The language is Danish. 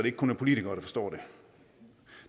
ikke kun er politikere der forstår